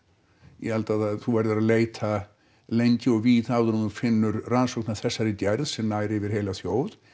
ég held að þú verðir að leita lengi og víða áður en þú finnur rannsókn af þessari gerð sem nær yfir heila þjóð